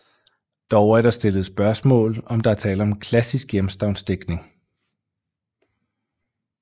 Dog er der stillet spørgsmål om der er tale om klassisk hjemstavnsdigtning